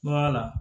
Baga la